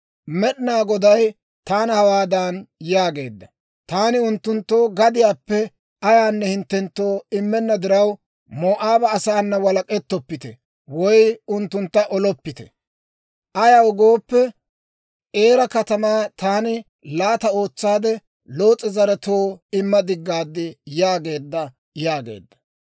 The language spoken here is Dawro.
« ‹Med'inaa Goday taana hawaadan yaageedda; «Taani unttunttu gadiyaappe ayaanne hinttenttoo immenna diraw, Moo'aaba asaana walek'ettoppite woy unttuntta oloppite; ayaw gooppe, Eera katamaa taani laata ootsaade Loos'e zaretoo imma diggaad» yaageedda› yaageedda.»